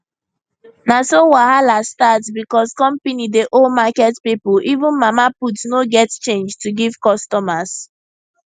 na so wahala start because company dey owe market people even mama put no get change to give customers